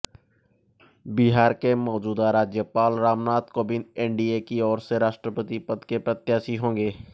बिहार के मौज़ूदा राज्यपाल रामनाथ काेविंद एनडीए की ओर से राष्ट्रपति पद के प्रत्याशी होंगे